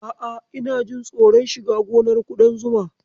A'a, ina jin tsoron shiga gonar ƙudan zuma.